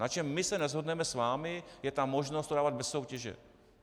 Na čem my se neshodneme s vámi, je ta možnost to dávat bez soutěže.